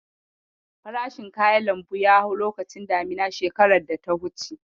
Farashin kayan lambu ya hau lokacin damina shekarar data wuce.